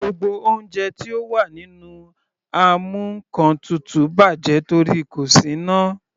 Gbogbo oúnjẹ tí ó wà nínú amúnkantutù bàjẹ́ torí kò sí iná.